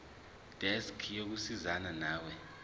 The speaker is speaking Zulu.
desk yokusizana nawe